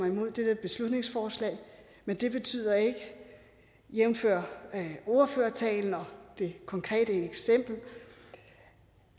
imod det her beslutningsforslag men det betyder ikke jævnfør ordførertalen og det konkrete eksempel